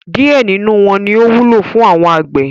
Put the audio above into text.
Díẹ̀ nínú wọn ní ó wúlò fún àwọn àgbẹ̀.